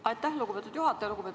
Aitäh, lugupeetud juhataja!